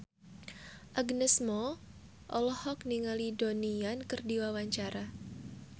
Agnes Mo olohok ningali Donnie Yan keur diwawancara